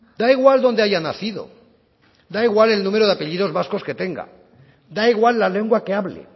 da igual donde haya nacido da igual el número de apellidos vascos que tenga da igual la lengua que hable